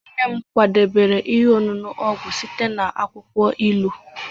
nne m kwadebere ihe ọṅụṅụ ọgwụ site na akwukwo ilu